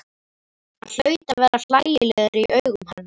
Hann hlaut að vera hlægilegur í augum hennar.